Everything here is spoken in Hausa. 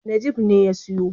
Najeeb ne ya siyo.